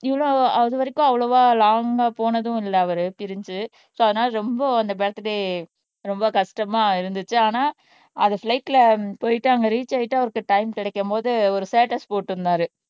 இவ்வளவு அது வரைக்கும் அவ்வளவா லாங்கா போனதும் இல்ல அவரு பிரிஞ்சு சோ அதனால ரொம்ப அந்த பர்த்டே ரொம்ப கஷ்டமா இருந்துச்சு ஆனா அதை ஃபிளைட்ல போயிட்டு அங்க ரீச் ஆயிட்டு அவருக்கு டைம் கிடைக்கும் போது ஒரு ஸ்டேட்டஸ் போட்டிருந்தாரு